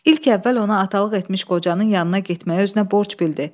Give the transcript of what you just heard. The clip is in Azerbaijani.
İlk əvvəl ona atalıq etmiş qocanın yanına getməyi özünə borc bildi.